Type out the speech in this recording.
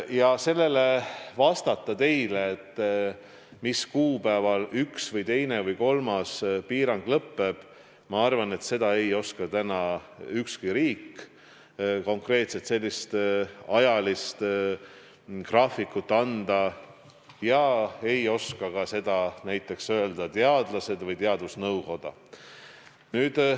Ma arvan, et vastata teile, mis kuupäeval üks või teine või kolmas piirang lõppeb, ei oska täna ükski riik, konkreetset ajalist graafikut anda ei suuda ka näiteks teadlased või teadusnõukoda.